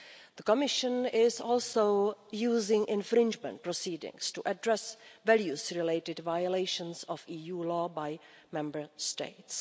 The Commission is also using infringement proceedings to address values-related violations of EU law by Member States.